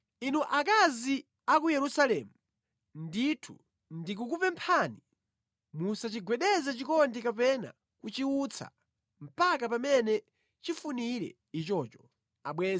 Inu akazi a ku Yerusalemu, ndithu ndikukupemphani: musachigwedeze chikondi kapena kuchiutsa mpaka pamene chifunire ichocho.